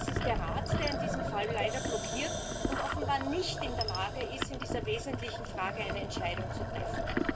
Es ist der Rat, der in diesem Fall leider blockiert und offenbar nicht in der Lage ist, in dieser wesentlichen Frage eine Entscheidung zu treffen.